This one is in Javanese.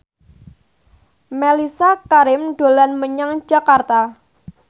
Mellisa Karim dolan menyang Jakarta